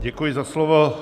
Děkuji za slovo.